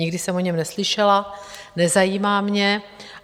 Nikdy jsem o něm neslyšela, nezajímá mě.